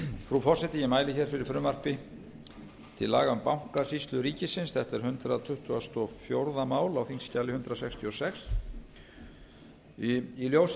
frú forseti ég mæli hér með fyrir frumvarpi til laga um bankasýslu ríkisins átt er hundrað tuttugasta og fjórða mál á þingskjali hundrað sextíu og sex í ljósi